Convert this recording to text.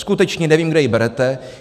Skutečně nevím, kde ji berete.